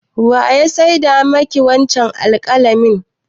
Wa ya saida ma ki wancen alƙalamin?